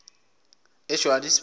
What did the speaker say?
ejohannesburg